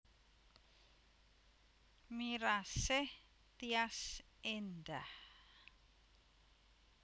Mirasih Tyas Endah